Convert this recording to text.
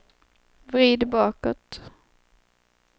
vrid bakåt